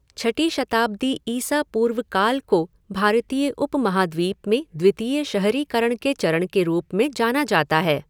छठी शताब्दी ईसा पूर्व काल को भारतीय उपमहाद्वीप में द्वितीय शहरीकरण के चरण के रूप में जाना जाता है।